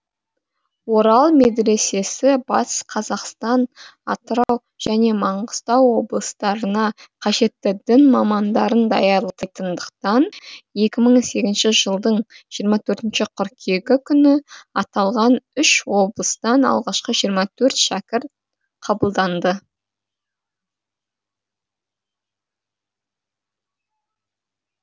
орал медресесі батыс қазақстан атырау және маңғыстау облыстарына қажетті дін мамандарын даярлайтындықтан екі мың сегізінші жылдың жиырма төртінші қыркүйегі күні аталған үш облыстан алғашқы жиырма төрт шәкірт қабылданды